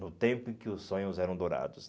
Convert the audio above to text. No tempo em que os sonhos eram dourados.